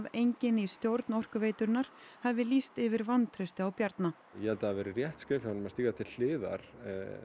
enginn í stjórn Orkuveitunnar hafi lýst yfir vantrausti á Bjarna ég held að það hafi verið rétt skref hjá honum að stíga til hliðar